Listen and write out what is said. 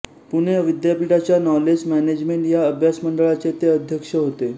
पुणे विद्यापीठाच्या knowledge management या अभ्यासमंडळाचे ते अध्यक्ष होते